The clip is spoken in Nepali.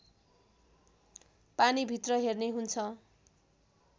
पानीभित्र हेर्ने हुन्छ